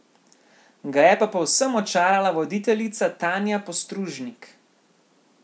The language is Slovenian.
Ga je pa povsem očarala voditeljica Tanja Postružnik.